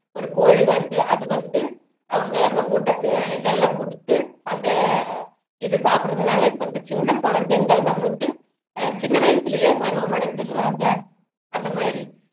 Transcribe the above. ஒரு கோழி வருது அது வந்து அவங்க அந்த ஊட்டத்து இதெல்லாம் குடுத்து அந்த இது சாப்பிடுறதுனால இப்போ இந்த சின்ன குழந்தைங்க நம்மளுக்கு சின்ன வயசிலயே பருவம் அடைஞ்சுடுறாங்க அந்த மாதிரி